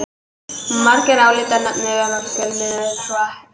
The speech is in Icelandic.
Margir álíta Netið vera fjölmiðil en svo er ekki.